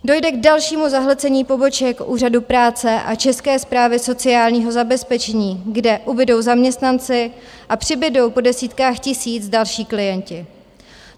Dojde k dalšímu zahlcení poboček úřadů práce a České správy sociálního zabezpečení, kde ubudou zaměstnanci a přibudou po desítkách tisíc další klienti.